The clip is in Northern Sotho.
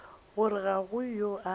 gore ga go yo a